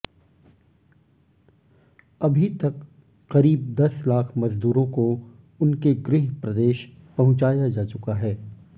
अभी तक करीब दस लाख मजदूरों को उनके गृह प्रदेश पहुंचाया जा चुका है